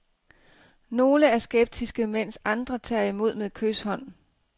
Nogle er skeptiske, mens andre tager imod med kyshånd.